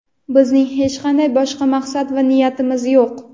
Bizning hech qanday boshqa maqsad va niyatimiz yo‘q.